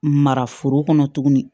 Mara foro kɔnɔ tuguni